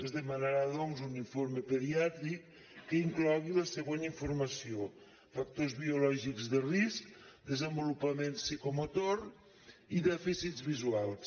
es demanarà doncs un informe pediàtric que inclogui la següent informació factors biològics de risc desenvolupament psicomotor i dèficits visuals